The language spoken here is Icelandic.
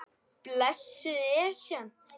Blessuð Esjan.